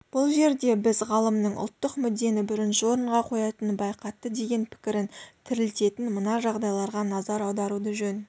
бұл жерде біз ғалымның ұлттық мүддені бірінші орынға қоятынын байқатты деген пікірін тірілтетін мына жағдайларға назар аударуды жөн